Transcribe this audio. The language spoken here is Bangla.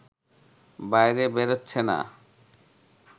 বাইরে বেরোচ্ছে না